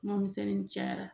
Kuma misɛnnin cayara